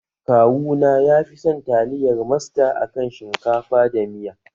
Kawuna ya fison taliyar masta a kan shinkafa da miya.